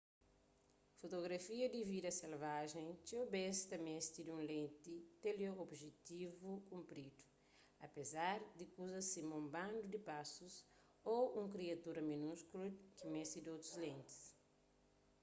fotografia di vida selvajen txeu bês ta meste di un lenti teleobjetivu kunpridu apézar di kuzas sima un bandu di pásus ô un kriatura minúskulu ta meste di otus lentis